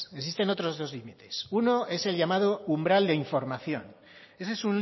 existen otros dos límites uno es el llamado umbral de información ese es